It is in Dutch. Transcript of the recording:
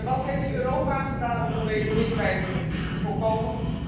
En wat heeft Europa gedaan om deze misdrijven te voorkomen?